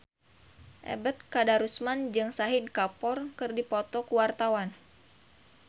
Ebet Kadarusman jeung Shahid Kapoor keur dipoto ku wartawan